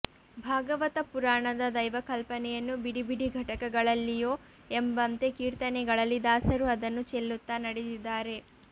ಭಾಗವತ ಪುರಾಣದ ದೈವಕಲ್ಪನೆಯನ್ನು ಬಿಡಿ ಬಿಡಿ ಘಟಕಗಳಲ್ಲಿಯೋ ಎಂಬಂತೆ ಕೀರ್ತನೆಗಳಲ್ಲಿ ದಾಸರು ಅದನ್ನು ಚೆಲ್ಲುತ್ತಾ ನಡೆದಿದ್ದಾರೆ